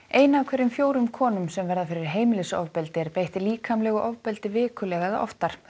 ein af hverjum fjórum konum sem verða fyrir heimilisofbeldi er beitt líkamlegu ofbeldi vikulega eða oftar